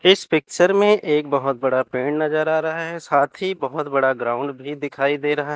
इस पिक्चर में एक बहोत बड़ा पेड़ नजर आ रहा है साथ ही बहोत बड़ा ग्राउंड भी दिखाई दे रहा--